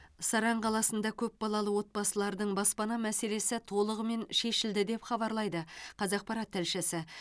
саран қаласында көпбалалы отбасылардың баспана мәселесі толығымен шешілді деп хабарлайды қазақпарат тілшісі